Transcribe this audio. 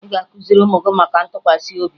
Ị ga-akụziri ụmụ gị maka ntụkwasị obi